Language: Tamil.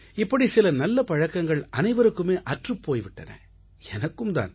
இப்படி சில நல்ல பழக்கங்கள் அனைவருக்குமே அற்றுப் போய் விட்டன எனக்கும் தான்